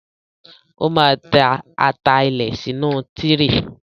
Ó máa tẹ́ ata ilẹ̀ sínú tíréè.